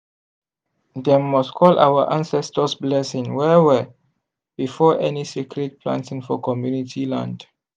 dem must call our ancestors blessing well well before any sacred planting for community land.